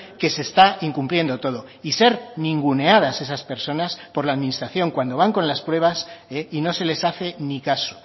que se está incumpliendo todo y ser ninguneadas esas personas por la administración cuando van con las pruebas y no se les hace ni caso